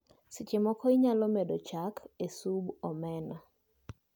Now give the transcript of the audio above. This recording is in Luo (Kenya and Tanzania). Seche moko inyalo medo chak e sub omena